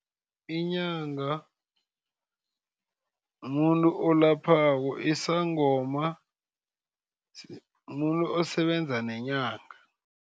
Inyanga mumuntu olaphako. Isangoma mumuntu osebenza nenyanga.